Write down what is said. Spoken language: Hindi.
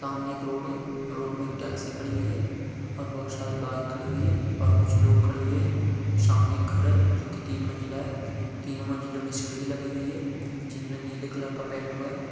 सामने एक रोड है रोड में एक टैक्सी खड़ी हुई है और बहुत सारी बाइक खड़ी हुई है और कुछ लोग खड़े हुए है सामने एक घर है जो कि तीन मंजिला है तीनों मंजिलों में सीढ़ी लगी हुई है जिनमें नीले कलर का पेंट हुआ है।